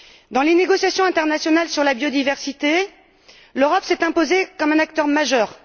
Dans les négociations internationales sur la biodiversité, l'Europe s'est imposée comme un acteur majeur.